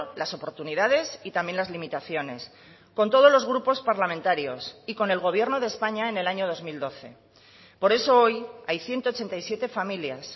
las oportunidades y también las limitaciones con todos los grupos parlamentarios y con el gobierno de españa en el año dos mil doce por eso hoy hay ciento ochenta y siete familias